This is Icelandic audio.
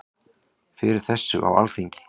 Fyrir þessu á Alþingi.